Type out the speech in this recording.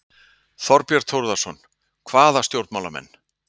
Þorbjörn Þórðarson: Hvaða stjórnmálamenn?